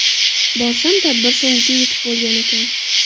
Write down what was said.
Borsam tadbir so‘ngiga yetib bo‘lgan ekan.